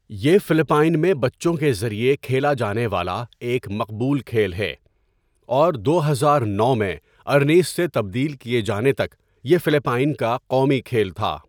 یہ فلپائن میں بچوں کے ذریعے کھیلا جانے والا ایک مقبول کھیل ہے اور دو ہزار نو میں ارنیس سے تبدیل کیے جانے تک یہ فلپائن کا قومی کھیل تھا۔